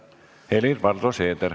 Helir-Valdor Seeder.